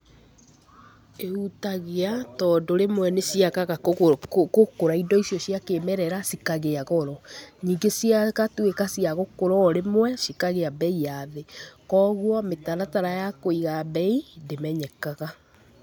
Ihutagia tondũ rĩmwe nĩ ciagaga gũkũra, indo icio cia kĩĩmerera cikagĩa goro, ningĩ cigatũĩka cia gũkũra o rĩmwe, cikagĩa mbei ya thĩ. Koguo, mĩtaratara ya kũiga mbei ndĩmenyekaga.